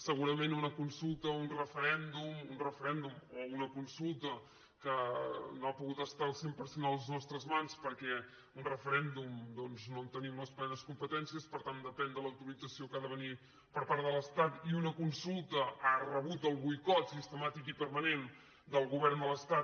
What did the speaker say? segurament una consulta un referèndum un referèndum o una consulta que no ha pogut estar al cent per cent a les nostres mans per·què d’un referèndum doncs no en tenim les plenes competències per tant depèn de l’autorització que ha de venir per part de l’estat i una consulta ha rebut el boicot sistemàtic i permanent del govern de l’es·tat